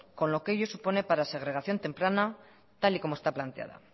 con lo que ello supone para segregación temprana tal y como está planteada